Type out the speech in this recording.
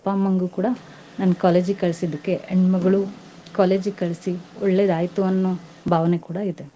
ಅಮ್ಮಂಗೂ ಕೂಡಾ ನನ್ನ college ಗೆ ಕಳ್ಸಿದ್ಕೆ ಹೆಣ್ಮಗ್ಳು college ಗೆ ಕಳ್ಸಿ, ಒಳ್ಳೆದಾಯ್ತು ಅನ್ನೋ ಭಾವನೆ ಕೂಡಾ ಇದೆ.